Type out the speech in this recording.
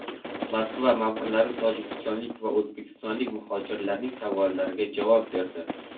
Moskva ma’murlari tojikistonlik va o‘zbekistonlik muhojirlarning savollariga javob berdi.